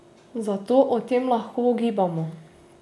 Zato o tem lahko ugibamo.